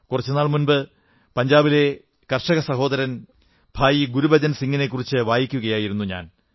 കുറച്ചു നാൾ മുമ്പ് ഞാൻ പഞ്ചാബിലെ കർഷകസഹോദരൻ ഭായി ഗുരുബചൻ സിംഗിനെക്കുറിച്ചു വായിക്കുകയായിരുന്നു